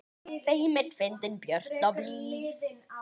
Feimin, fyndin, björt og blíð.